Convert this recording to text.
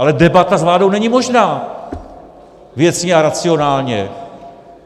Ale debata s vládou není možná věcně a racionálně.